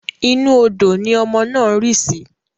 Inú odò ni ọmọ náà rí sì